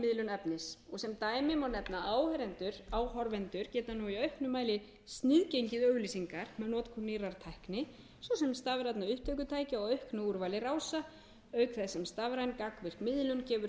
miðlun efnis sem dæmi má nefna að áhorfendur geta nú í auknum mæli sniðgengið auglýsingar með notkun nýrrar tækni svo sem stafrænna upptökutækja og auknu úrvali rása auk þess sem stafræn gagnvirk miðlun gefur